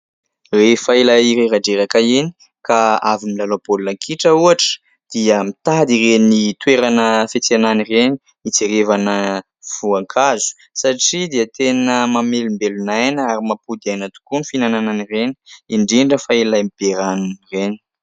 Rehefa ilay reradreraka iny ka avy nilalao baolina kitra ohatra dia mitady ireny toerana fiantsenana ireny hijrevana voankazo satria dia tena mamelombelon'aina ary mampody aina tokoa ny fihinanana an'ireny, indrindra fa ilay be ranony ireny.